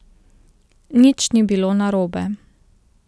Nič ni bilo narobe.